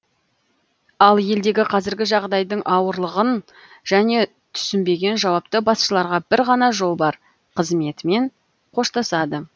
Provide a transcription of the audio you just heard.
ал елдегі қазіргі жағдайдың ауырлығын және түсінбеген жауапты басшыларға бір ғана жол бар қызметімен қоштасады